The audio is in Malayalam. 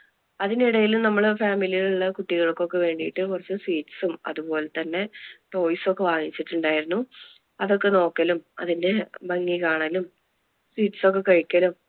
അതിനിടയിൽ നമ്മള് family യിൽ ഉള്ള കുട്ടികൾക്ക് ഒക്കെ വേണ്ടിട്ട് കുറച്ച് sweets അതുപോലെ തന്നെ toys ഒക്കെ വാങ്ങിച്ചിട്ടുണ്ടായിരുന്നു, അതൊക്കെ നോക്കലും അതിന്‍റെ ഒക്കെ ഭംഗി കാണലും sweets ഒക്കെ കഴിക്കലും